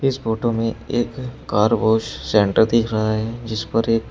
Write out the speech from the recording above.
इस फोटो में एक कार वॉश सेंटर दिख रहा है जिस पर एक--